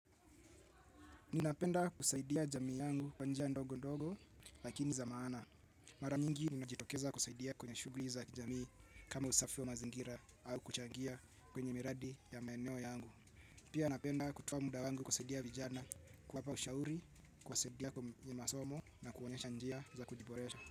Ninapenda kusaidia jamii yangu kwa njia ndogo ndogo lakini za maana. Mara mingi ninajitokeza kusaidia kwenye shughuli za kijamii kama usafi wa mazingira au kuchangia kwenye miradi ya maeneo yangu. Pia napenda kutoa muda wangu kusaidia vijana kuwapa ushauri, kuwasaidia kwenye masomo na kuwaonyesha njia za kujiboresha.